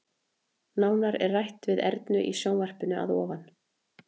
Nánar er rætt við Ernu í sjónvarpinu að ofan.